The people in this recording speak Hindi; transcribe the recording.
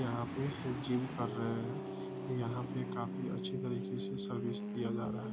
यहाँ पे जिम कर रहें हैं यहाँ पे काफी अच्छे तरीके से सर्विस दिया जा रहा है।